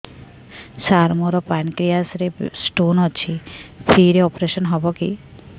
ସାର ମୋର ପାନକ୍ରିଆସ ରେ ସ୍ଟୋନ ଅଛି ଫ୍ରି ରେ ଅପେରସନ ହେବ କି